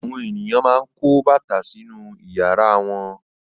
Àwọn ènìyàn máa ń kó bàtà sínú ìyàrá wọn.